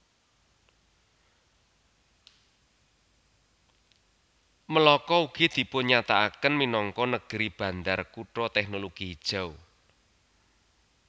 Melaka ugi dipunnyatakaken minangka Negeri Bandar Kutha Teknologi Hijau